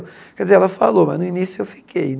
Quer dizer, ela falou, mas no início eu fiquei.